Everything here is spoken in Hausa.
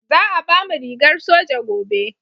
Za a bamu rigar soja gobe